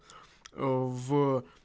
ээ в